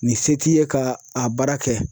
Ni se t'i ye ka a baara kɛ